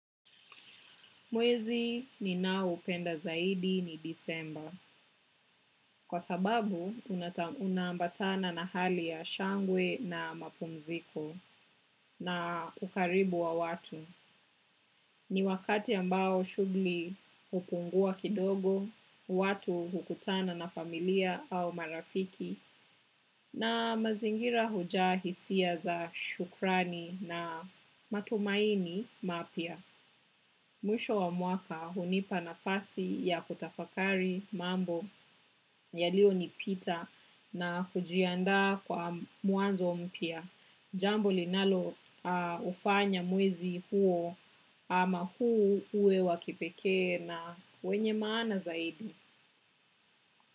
Mwezi ninaoupenda zaidi ni Disemba. Kwa sababu unaambatana na hali ya shangwe na mapumziko na ukaribu wa watu. Ni wakati ambao shughuli hupungua kidogo, watu hukutana na familia au marafiki na mazingira hujaa hisia za shukrani na matumaini mapya. Mwisho wa mwaka hunipa nafasi ya kutafakari mambo yalionipita na kujiandaa kwa mwanzo mpya. Jambo linaloufanya mwezi huo ama huu uwe wa kipekee na wenye maana zaidi.